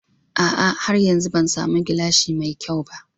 A'a har yanzu Ban samu gilashi mai kyau ba.